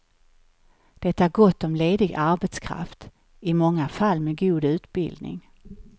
Det är gott om ledig arbetskraft, i många fall med god utbildning.